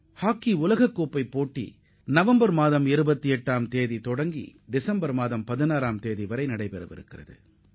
இந்த உலகக் கோப்பை ஹாக்கி போட்டிகள் நவம்பர் 28 தொடங்கி டிசம்பர் 16ல் நிறைவடைகிறது